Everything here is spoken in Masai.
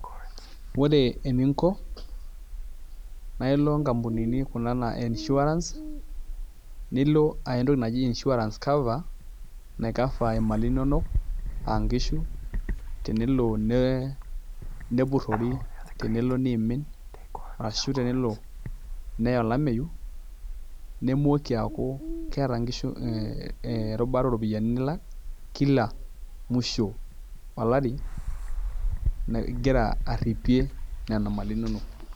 Ore eninko naa ilo kampunini kuna naa insurance nilo aya entoki naji insurance cover naicover imali inonok aa nkishu tenelo nepururi tenelo neimin ashu tenelo neya olameyu nemoiki akuu keeta nkishu erubata oropiani nilak kila musho olari igira aripie nena mali inonok.